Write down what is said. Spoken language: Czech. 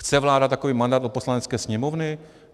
Chce vláda takový mandát od Poslanecké sněmovny?